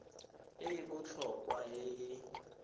e e botlhokwa e e